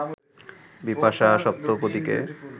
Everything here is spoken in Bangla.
বিপাশা, সপ্তপদীতে